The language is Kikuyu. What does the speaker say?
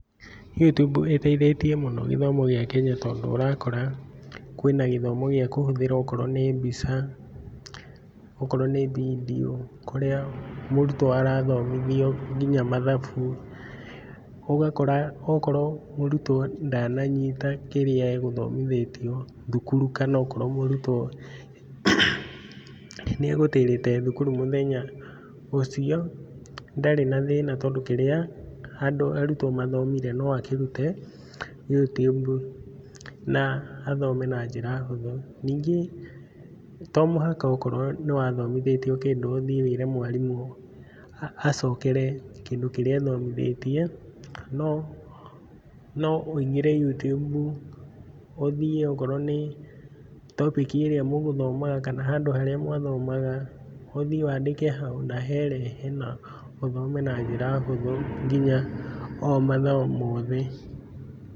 You tube ĩteithĩtie mũno gĩthomo gĩa Kenya tondũ ũrakora, kwĩna gĩthomo gĩa kũhũthĩra akorwo nĩ mbica, akorwo nĩ vindiũ kũrĩa, mũrutwo arathomithio nginya mathabu. Ũgakora akorwo mũrutwo ndananyita kĩrĩa egũthomithĩtio thukuru kana akorwo mũrutwo, nĩ egũtĩrĩte thukuru mũthenya ũcio, ndarĩ na thĩna tondũ kĩrĩa andũ arutwo mathomire no akĩrute You tube. na athome na njĩra hũthũ. Ningĩ to mũhaka akorwo nĩwathomithĩtio kĩndũ ũthiĩ wĩre mwarimũ acokere kĩndũ kĩrĩa athomithĩtie, no no ũingĩre You tube ũthiĩ okorwo nĩ topic ĩrĩa mũgũthomaga kana handũ harĩa mwathomaga, ũthiĩ wandĩke hau na herehe na ũthome na njĩra hũthũ nginya o mathomo mothe.